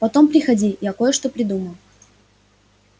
потом приходи я кое-что придумал